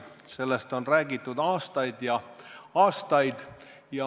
Sellest on räägitud aastaid ja aastaid.